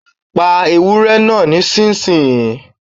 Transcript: Pa ewúré náà nísinsìnyí